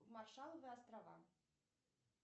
маршалловы острова